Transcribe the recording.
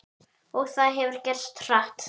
Og það hefur gerst hratt.